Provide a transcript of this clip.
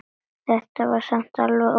Þetta var samt alveg óþarfi